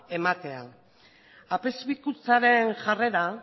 ematea apezpikutzaren jarrera